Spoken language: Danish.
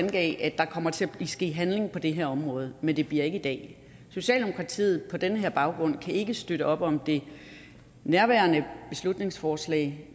at der kommer til at ske handling på det her område men det bliver ikke i dag socialdemokratiet kan på den her baggrund ikke støtte op om det nærværende beslutningsforslag